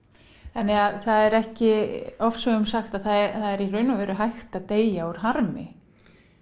það er ekki ofsögum sagt að það er í raun og veru hægt að deyja úr harmi